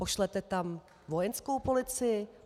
Pošlete tam vojenskou policii?